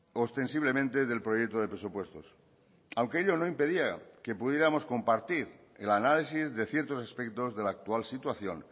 ostensiblemente del proyecto de presupuestos aunque ello no impedía que pudiéramos compartir el análisis de ciertos aspectos de la actual situación